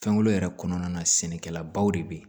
Fɛnko yɛrɛ kɔnɔna na sɛnɛkɛlabaw de bɛ yen